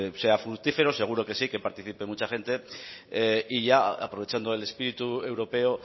sea fructífero seguro que sí que participe mucha gente y ya aprovechando el espíritu europeo